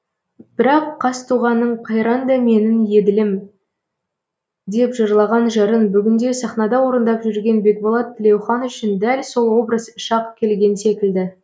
бірақ қазтуғанның қайранда менің еділім деп жырлаған жырын бүгінде сахнада орындап жүрген бекболат тілеухан үшін дәл сол образ шақ келген секілді